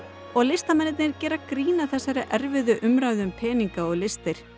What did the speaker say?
og listamenn gera grín að þessari erfiðu umræðu um peninga og listir